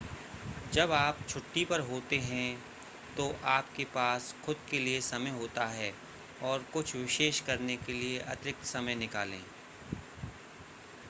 जब आप छुट्टी पर होते हैं तो आपके पास खुद के लिए समय होता है और कुछ विशेष करने के लिए अतिरिक्त समय निकालें